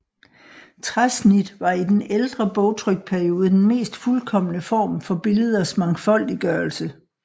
Træsnit var i den ældre bogtrykperiode den mest fuldkomne form for billeders mangfoldiggørelse